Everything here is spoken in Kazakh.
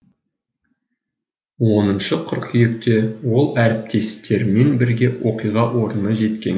оныншы қыркүйекте ол әріптестерімен бірге оқиға орнына жеткен